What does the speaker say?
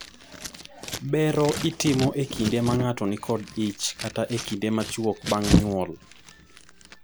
bero itimo ekinde ma ng'ato nikod ich kata ekinde machuok bang' nyuol